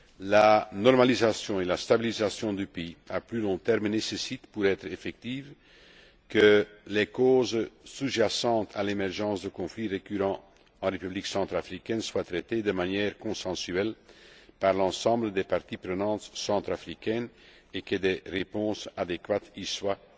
La normalisation et la stabilisation du pays à plus long terme nécessitent, pour être effectives, que les causes sous jacentes à l'émergence de conflits récurrents en République centrafricaine soient traitées de manière consensuelle par l'ensemble des parties prenantes centrafricaines et que des réponses adéquates y soient